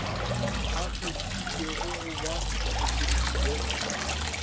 a kgethilwego go ba mopresidente